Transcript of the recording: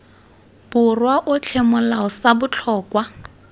borwa otlhe molao sa botlhokwa